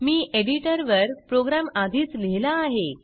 मी एडिटरवर प्रोग्रॅम आधीच लिहिला आहे